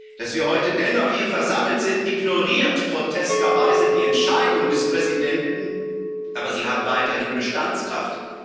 Dass wir heute dennoch hier versammelt sind, ignoriert groteskerweise die Entscheidung des Präsidenten, aber sie hat weiterhin Bestandskraft.